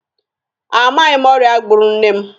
A maghị m ọrịa gburu nne m.